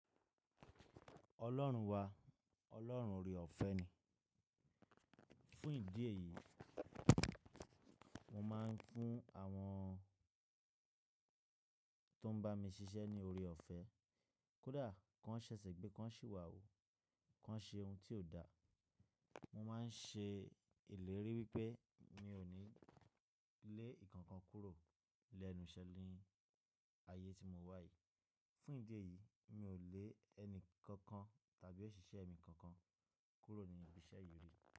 Ọlọ́run wa, ọlọ́run ore ọ̀fẹ́ ni. Fún ìdí èyí, mo máa ń fún àwọn tó ń bá mi ṣiṣẹ́ ní ore ọ̀fẹ́. Kódà, kí wọ́n ṣẹ̀sẹ̀ gbé, kí wọ́n sì wà ó, kí wọ́n ṣe ohun tí ò da, mo máa ń ṣe ìlérí wípé mi ò ní lé ǹkan kan kúrò lẹ́nu iṣẹ́ ni ayé tí mo wà yìí. Fún ìdí èyí, mi ò lé ẹni kankan tàbí òṣìṣẹ́ mi kankan kúrò ní ibi iṣẹ́ yìí rí.